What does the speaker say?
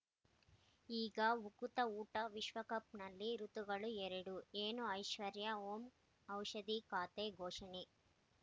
ಈಗ ಉಕುತ ಊಟ ವಿಶ್ವಕಪ್‌ನಲ್ಲಿ ಋತುಗಳು ಎರಡು ಏನು ಐಶ್ವರ್ಯಾ ಓಂ ಔಷಧಿ ಖಾತೆ ಘೋಷಣೆ